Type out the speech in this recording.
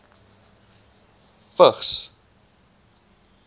vigs